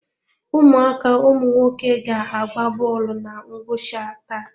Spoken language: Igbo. Ụmụaka ụmụnwoke ga agba bọọlụ na ngwụcha taa.